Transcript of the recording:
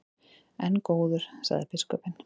En góður, sagði biskupinn.